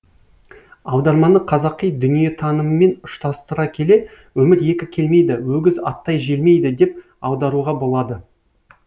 аударманы қазақи дүниетаныммен ұштастыра келе өмір екі келмейді өгіз аттай желмейді деп аударуға болады